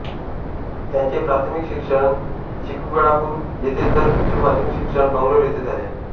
त्यांचे प्राथमिक शिक्षण चिकबळ्ळापूर येथे तर उच्चमाध्यमिक शिक्षण बंगलोर येथे झाले